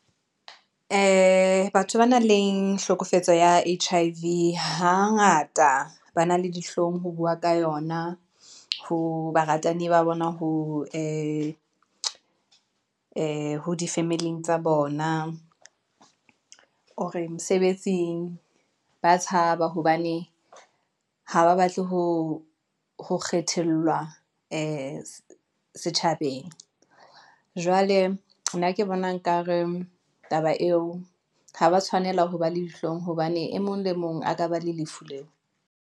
Batho ba nang le hlokofetse ya H_I_V hangata ba na le dihlong ho bua ka yona ho baratani ba bona, ee, ho difamily-ing tsa bona ore mosebetsing ba tshaba hobane ha ba batle ho ho kgethelwa setjhabeng. Jwale nna ke bona nkare taba eo ha ba tshwanela ho ba le dihlong hobane e mong le mong a ka ba le lefu leo.